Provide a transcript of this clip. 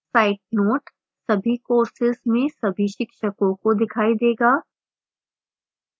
site note सभी courses में सभी शिक्षकों को दिखाई देगा